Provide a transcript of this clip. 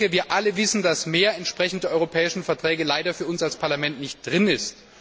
Wir alle wissen, dass mehr im Rahmen der europäischen Verträge leider für uns als Parlament nicht möglich ist.